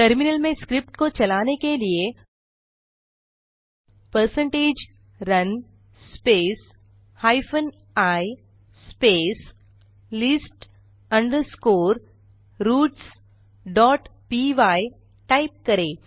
terminal में script को चलाने के लिए percentage run space hyphen I space list underscore routes dot py type करें